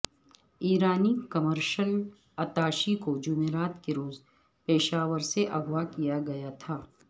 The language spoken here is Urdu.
ایرانی کمرشل اتاشی کو جمعرات کے روز پشاور سے اغواء کیا گیا تھا